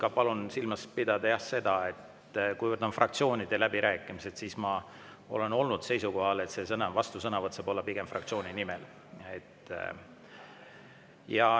Ja palun silmas pidada ka seda, et kuivõrd need läbirääkimised on fraktsioonidele, siis ma olen olnud seisukohal, et vastusõnavõtt saab olla pigem fraktsiooni nimel.